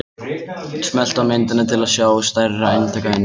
Smelltu á myndina til að sjá stærra eintak af henni.